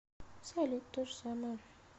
салют то же самое